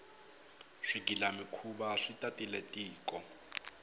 swigila mikhuva swi tatile tiko